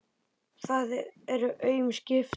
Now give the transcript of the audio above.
Það eru aum skipti.